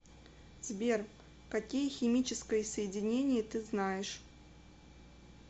сбер какие химическое соединение ты знаешь